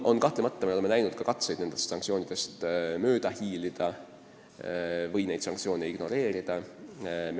Kahtlemata oleme näinud ka katseid sanktsioonidest mööda hiilida või neid ignoreerida.